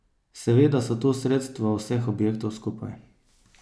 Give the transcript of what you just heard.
Seveda so to sredstva vseh objektov skupaj.